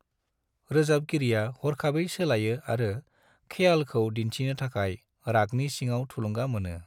रोजाबगिरिया हरखाबै सोलायो आरो ख्यालखौ दिन्थिनो थाखाय रागनि सिङाव थुलुंगा मोनो।